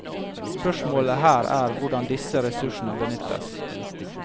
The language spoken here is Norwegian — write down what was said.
Spørsmålet her er hvordan disse ressursene benyttes.